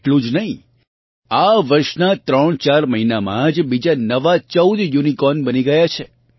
એટલું જ નહીં આ વર્ષનાં 34 મહિનામાં જ બીજાં નવાં 14 યુનિકોર્ન બની ગયા છે